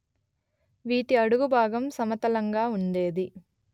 వీటి అడుగు భాగం సమతలంగా ఉండేది